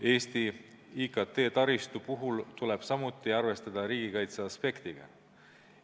Eesti IKT-taristu puhul tuleb arvestada ka riigikaitseaspektiga.